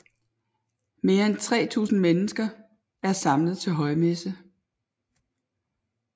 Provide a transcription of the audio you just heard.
Mere end 3000 mennesker er samlet til højmesse